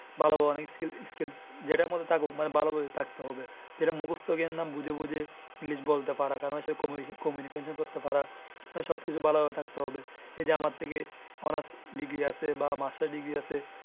ভালো ভাবে skill যেইডা মধ্যে থাকুক ভালো ভাবে থাকতে হবে। যেইটা মুখস্ত বুজে বুজে english বলতে পারা কারণ communication করতে পারা। মানে সব কিছু ভালো ভাবে থাকতে হবে। এইযে আমার থেকে honors degree আছে বা masters degree আছে।